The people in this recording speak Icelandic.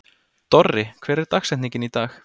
Dorri, hver er dagsetningin í dag?